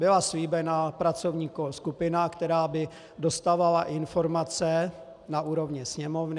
Byla slíbena pracovní skupina, která by dostávala informace na úrovni Sněmovny.